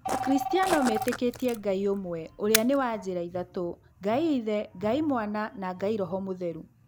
Akristiano metĩkĩtie Ngai ũmwe ũrĩa nĩ wa njĩra ithatũ, Ngai ithe, Ngai mwana na roho mũtheru.